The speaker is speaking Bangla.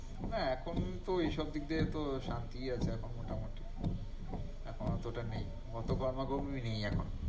না এখন তো ঐসব দিক দিয়ে তো শান্তিই আছে এখন মোটামুটি এখন অতটা নেই, অতো গরমা-গর্মি নেই এখন।